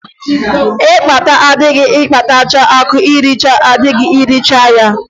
Mkpata adịghị akpatacha akụ nricha adịghị ericha ya.